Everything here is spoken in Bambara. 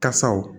Kasaw